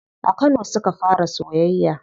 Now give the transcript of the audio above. A kano suka fara soyayya.